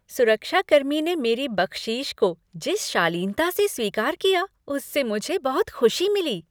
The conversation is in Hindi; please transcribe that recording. सुरक्षा कर्मी ने मेरी बख्शीश को जिस शालीनता से स्वीकार किया उससे मुझे बहुत खुशी मिली।